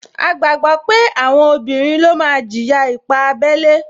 A gbàgbọ́ pé àwọn obìnrin ló máa jìyà ipá abẹ́lé